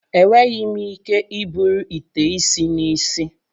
Enweghị m ike iburu ite isi n'isi.